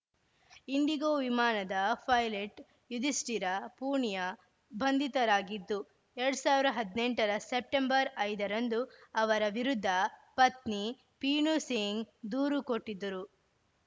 IndiGo ವಿಮಾನದ pilot Yudhishthira Punia ಬಂಧಿತರಾಗಿದ್ದು ಎರಡ್ ಸಾವಿರದ ಹದಿನೆಂಟರ ಸೆಪ್ಟೆಂಬರ್ ಐದರಂದು ಅವರ ವಿರುದ್ಧ ಪತ್ನಿ ಪೀನುಸಿಂಗ್‌ ದೂರು ಕೊಟ್ಟಿದ್ದರು